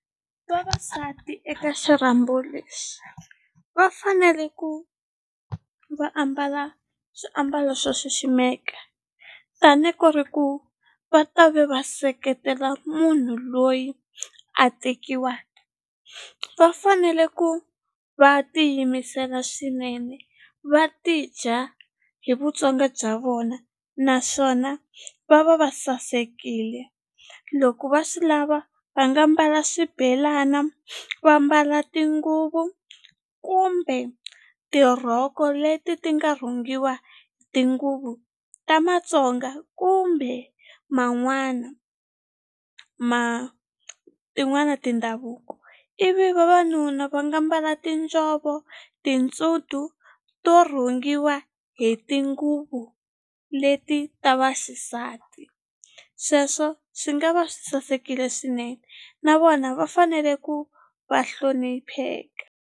Vavasati eka xirhambo lexi va fanele ku va ambala swiambalo swo xiximeka tani ku ri ku va ta ve va seketela munhu loyi a tekiwa va fanele ku va tiyimisela swinene va ti dya hi Vutsonga bya vona naswona va va va sasekile loko va swi lava va nga mbala swibelana va mbala tinguvu kumbe tirhoko leti ti nga rhungiwa tinguvu ta Matsonga kumbe man'wana ma tin'wana tindhavuko ivi vavanuna va nga mbala tinjhovo to to rhungiwa hi tinguvu leti ta vaxisati sweswo swi nga va swi sasekile swinene na vona va fanele ku va hlonipheka.